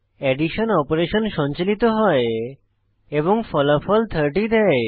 addition operation সঞ্চালিত হয় এবং ফলাফল 30 দেয়